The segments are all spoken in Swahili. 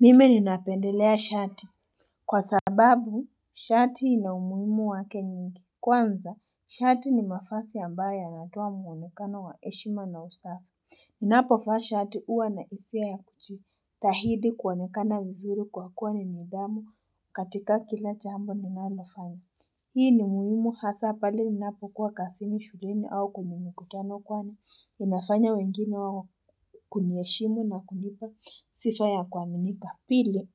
Mimi ninapendelea shati. Kwa sababu, shati ina umuhimu wake nyingi. Kwanza, shati ni mavazi ambayo yanatoa muonekano wa heshima na usafi. Ninapovaa shati huwa na hisia ya kujitahidi kuonekana vizuri kwa kuwa ni nidhamu katika kila jambo ninalonafanya. Hii ni muhimu hasa pale ninapo kuwa kazini shulini au kwenye mikutano kuwa na inafanya wengine wa kuniheshimu na kunipa sifa ya kuaminika. Pili,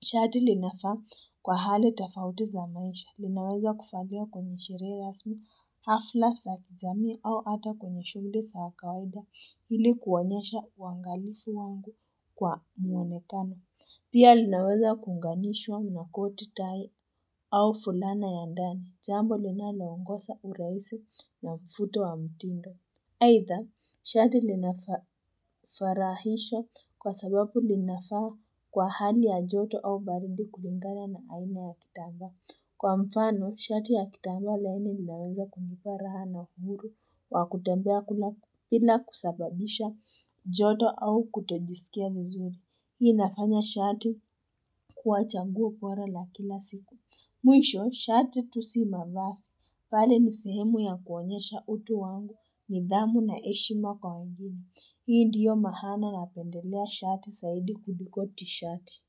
shati linafaa kwa hali tofauti za maisha, linaweza kuvaliwa kwenye sherehe rasmi hafla za kijamii au ata kwenye shughuli za kawaida ili kuonyesha uangalifu wangu kwa muonekano. Pia linaweza kuunganishwa nakoti tai au fulana ya ndani, jambo linalaongosza urahisi na mvuto wa mtindo. Aidha, shati linafarahisha kwa sababu linafaa kwa hali ya joto au baridi kulingana na aina ya kitambaa. Kwa mfano, shati ya kitambaa laini linaweza kunipa raha na huru wa kutembea kula bila kusababisha joto au kutojisikia vizuri. Hii inafanya shati kua chaguo bora la kila siku. Mwisho, shati tu simavazi, bali ni sehemu ya kuonyesha utu wangu, nidhamu na heshima kwa wengine. Hii ndiyo maana napendelea shati zaidi kudiko tishati.